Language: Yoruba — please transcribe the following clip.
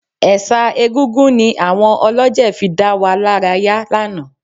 Ẹ̀ṣà Egúngún ni àwọn olọ́jẹ̀ fi dá wa lára yá lánàá